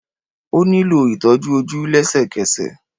Ó nílò ìtọ́jú ojú lésèkesè